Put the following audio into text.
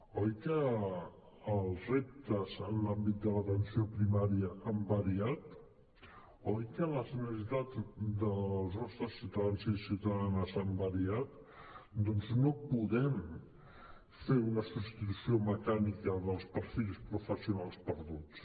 oi que els reptes en l’àmbit de l’atenció primària han variat oi que les necessitats dels nostres ciutadans i ciutadanes han variat doncs no podem fer una substitució mecànica dels perfils professionals perduts